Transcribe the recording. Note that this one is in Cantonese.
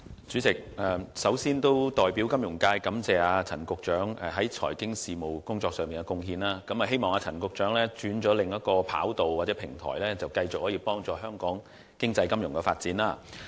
主席，首先，我代表金融界感謝陳局長在財經事務方面的貢獻，希望陳局長在轉往另一平台後，會繼續推動香港經濟金融的發展。